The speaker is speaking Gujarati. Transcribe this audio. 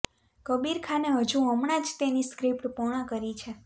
કબીર ખાને હજુ હમણાં જ તેની સ્ક્રીપ્ટ પૂર્ણ કરી છે